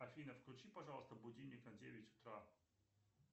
афина включи пожалуйста будильник на девять утра